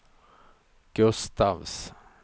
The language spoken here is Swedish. Gustafs